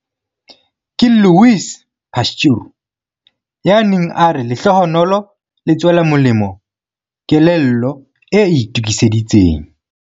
Ke Louis Pasteur ya neng a re lehlohonolo le tswela molemo kelello e itokiseditseng.